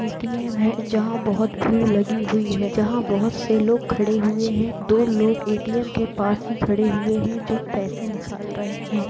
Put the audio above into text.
ATM है जहा बहुत भीड़ लगी हुई है जहा बहुत से लोग खड़े हुए है दो लोग ए.टी.एम के पास ही खड़े हुए है जो पैसे निकाल रहे है।